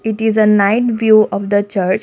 it is a night view of the church.